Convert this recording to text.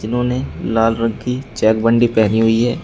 उन्होंने लाल रंग की चेक बंडी पहनी हुई है।